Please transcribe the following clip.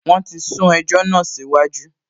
Wọ́n ti sún ẹjọ́ náà síwájú